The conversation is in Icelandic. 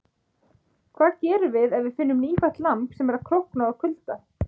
Hvað gerum við ef við finnum nýfætt lamb sem er að krókna úr kulda?